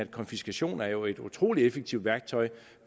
konfiskation er jo et utrolig effektivt værktøj